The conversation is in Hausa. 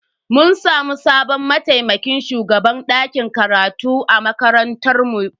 Mun samu sabon mataimakin shugaban dakin karatu a makarantar mu.